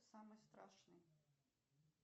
самый страшный